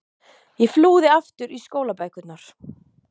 Ég flúði aftur í skólabækurnar.